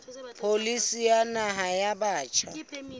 pholisi ya naha ya batjha